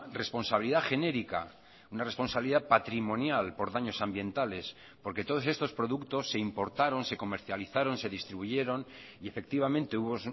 responsabilidad genérica una responsabilidad patrimonial por daños ambientales porque todos estos productos se importaron se comercializaron se distribuyeron y efectivamente hubo